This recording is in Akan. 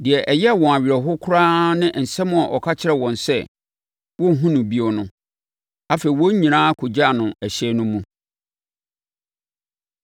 Deɛ ɛyɛɛ wɔn awerɛhoɔ koraa ne asɛm a ɔka kyerɛɛ wɔn sɛ, wɔrenhunu no bio no. Afei, wɔn nyinaa kɔgyaa no ɛhyɛn no mu.